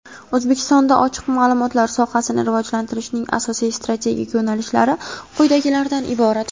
O‘zbekistonda ochiq maʼlumotlar sohasini rivojlantirishning asosiy strategik yo‘nalishlari quyidagilardan iborat:.